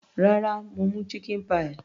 Rárá, mo mú chicken pie.